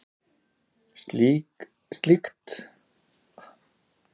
Slíkt menningarlandslag er fáséð.